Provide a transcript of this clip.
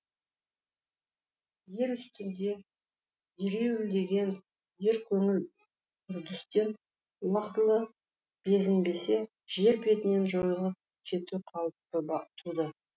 ер үстінде ереуілдеген еркөңіл үрдістен уақытылы безінбесе жер бетінен жойылып кету қаупі туды